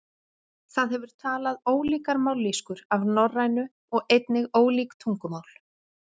það hefur talað ólíkar mállýskur af norrænu og einnig ólík tungumál